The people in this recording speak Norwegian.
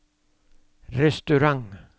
restaurant